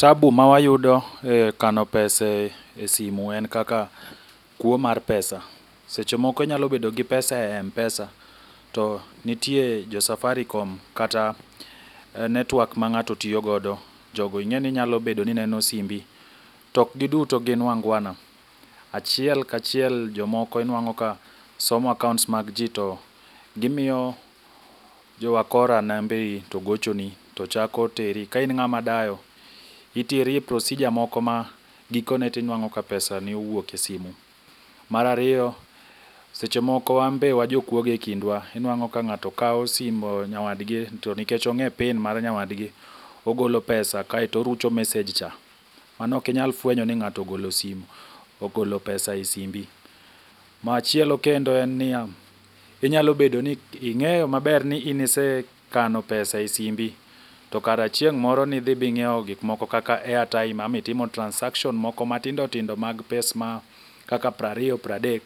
Tabu mawayudo e kano pesa e simu en kaka kuo mar pesa. Seche moko inyalo bedo gi pesa e M-pesa, to nitie jo Safaricom kata netwak ma ng'ato tiyogodo. Jogo ing'eni nyalo bedo ni neno simbi tok giduto gin wangwana. Achiel kachiel jomoko inwang'o ka somo accounts mag ji to gimiyo jo wakora nembegi to gochoni to chako teri. Kain ng'ama dayo, iteri e procedure moko ma gikone tinwang'o ka pesa ni owuok e simu. Marariyo, seche moko wambe wajokwoge e kindwa, inuang'o ka ng'ato kawa simo nyawadgi to nikech ong'e pin war nyawadgi, ogolo pesa kaeto oruch mesej cha. Mano okinyal fwenyo ni ng'ato ogolo pesa e simbi. Machielo kendo en niya, inyalo bedo ni ing'eyo maber ni in isekano pesa e simbi, to kar chieng' moro nidhi bing'iewo gikmoko kaka airtime ama itimo transaction moko matindotindo mag pes ma kaka prariyo pradek.